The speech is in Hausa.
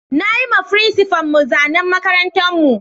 Na yi ma frincipa'n mu zanan makarantan mu.